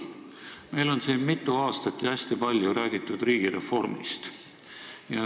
Meil on siin mitu aastat ja hästi palju räägitud riigireformist.